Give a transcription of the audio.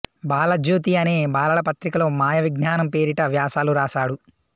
బాలజ్యోతి అనే బాలల పత్రికలో మాయావిజ్ఞానం పేరిట వ్యాసాలు వ్రాసాడు